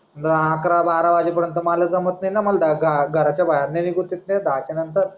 आक्रा बारा पर्यन्त माला जमात नाही ना माला घघराच्या बाहेर निघून देत नाही न दहाच्या नंतर.